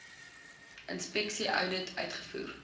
inspeksie oudit uitgevoer